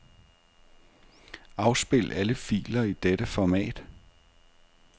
Afspil alle filer i dette format.